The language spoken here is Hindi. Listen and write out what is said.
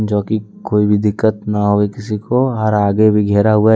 जो की कोई भी दिक्कत ना हो किसी को और आगे भी घेरा हुआ है।